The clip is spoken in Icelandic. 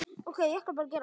suðaði Ína.